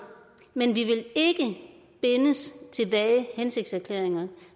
men vi vil ikke bindes af hensigtserklæringer